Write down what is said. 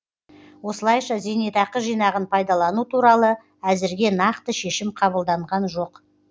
осылайша зейнетақы жинағын пайдалану туралы әзірге нақты шешім қабылданған жоқ